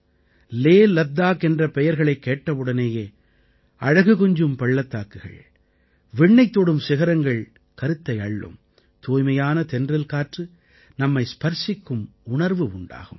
லேலத்தாக் என்ற பெயர்களைக் கேட்டவுடனேயே அழகு கொஞ்சும் பள்ளத்தாக்குகள் விண்ணைத் தொடும் சிகரங்கள் கருத்தை அள்ளும் தூய்மையான தென்றல் காற்று நம்மை ஸ்பர்ஸிக்கும் உணர்வு உண்டாகும்